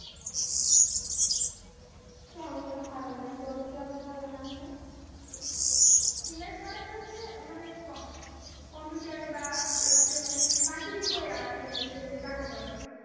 তেমন কোনো ধারণা নেই তোর কেমন ধারণা আছে finance মানে হচ্ছে মানে কম কম্পিউটারে বা ইয়াতে মানে, মার্কেটিং করে আর কি টাকা উপার্জন।